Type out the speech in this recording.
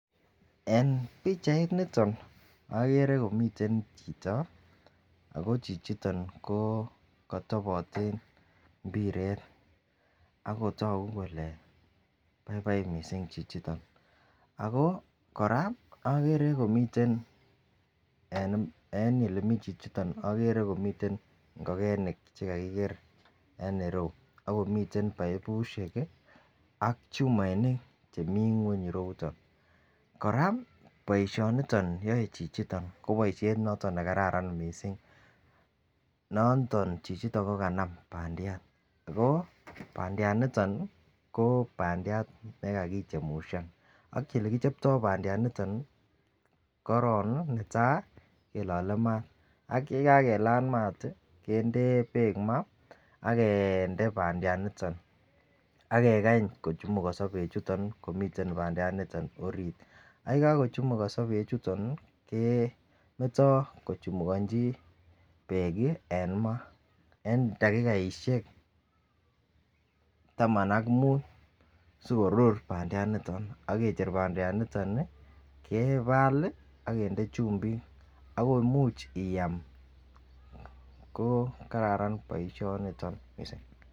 En pichainiton okere komiten chito ako chichiton ko kotoboten imbiret ako toku kole baibai missing chichiton. Ako Koraa okere komiten en en olemiten chichiton okere komiten ngokenik chekakikee en iroyuu ako miten baibushek kii ak chumoinik chemi ngweny ireyuton. Koraa boishoni yoe chichito ko boishet noton nekararan missing noton chichiton ko kanam pandiat ko pandiat ko pandiat nekakichemushan ak elekichopto pandiat niton nii ko korongi netai kilole mat ak yekakelal mat tii kende beek maa ak kinde pandiat niton akekany kochumukoso beek chuton komiten pandiat niton orit ak yekokochumukoso beek chuton nii kemeto kochumukonchi beek kii en maa en dakikaishek taman ak mut sikorur pandiat niton ak kecher pandiat niton nii kebal lii ak kende chumbik ak komuch iam ko kararan boishoniton missing.